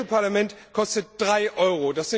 Das Europäische Parlament kostet 3 EUR.